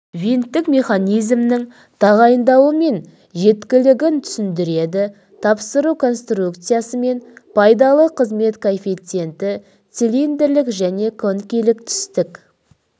винттік механизмнің тағайындауы мен жеткілігін түсіндіреді тапсыру конструкциясы мен пайдалы қызмет коэффициенті цилиндрлік және коникалық тістік